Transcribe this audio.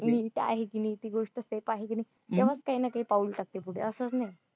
मी ती आहे मी ती गोष्ट safe आहे का नाही हम्म तेव्हाच काही ना काही पाऊल टाकते पुढे